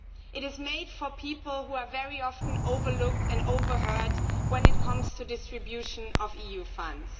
It is made for people who are very often overlooked and overheard when it comes to the distribution of EU funds.